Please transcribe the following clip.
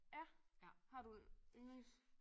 Ja? Har du en ynglings?